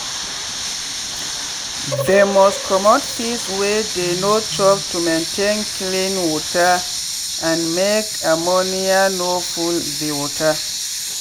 they must commot feeds wey dey no chop to maintain clean water and make ammonia no full the water.